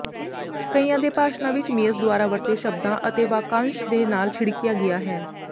ਕਈਆਂ ਦੇ ਭਾਸ਼ਣਾਂ ਵਿਚ ਮੀਅਸ ਦੁਆਰਾ ਵਰਤੇ ਸ਼ਬਦਾਂ ਅਤੇ ਵਾਕਾਂਸ਼ ਦੇ ਨਾਲ ਛਿੜਕਿਆ ਗਿਆ ਹੈ